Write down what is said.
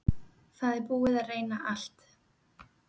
Það er búið að reyna allt.